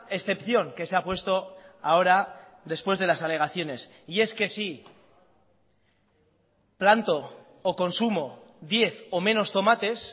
excepción que se ha puesto ahora después de las alegaciones y es que si planto o consumo diez o menos tomates